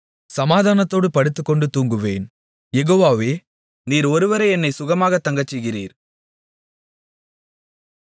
சமாதானத்தோடு படுத்துக்கொண்டு தூங்குவேன் யெகோவாவே நீர் ஒருவரே என்னைச் சுகமாகத் தங்கச்செய்கிறீர்